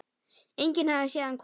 Enginn hafði séð hann koma.